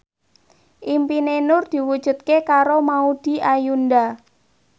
impine Nur diwujudke karo Maudy Ayunda